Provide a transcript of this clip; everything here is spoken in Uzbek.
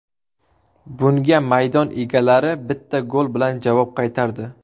Bunga maydon egalari bitta gol bilan javob qaytardi.